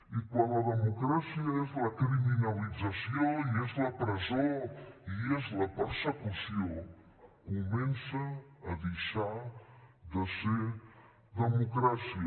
i quan la democràcia és la criminalització i és la presó i és la persecució comença a deixar de ser democràcia